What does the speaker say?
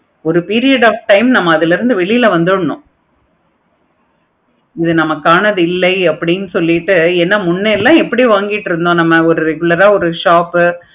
ஒரு period of time ல நம்ம அதுல இருந்து வெளிய வந்தோம்னா அது இது நமக்கு ஆனது இல்லை அப்படின்னு சொல்லிட்டு ஏன முன்னெல்லாம் நம்ம எப்படி வாங்கிட்டு இருந்தோம். நம்ம ஒரு regular ஆஹ் ஒரு shop